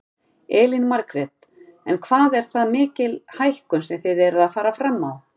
Elín Margrét: En hvað er það mikil hækkun sem þið eruð að fara fram á?